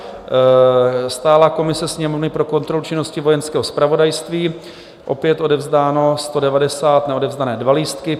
Stálá komise Sněmovny pro kontrolu činnosti Vojenského zpravodajství - opět odevzdáno 190, neodevzdané 2 lístky.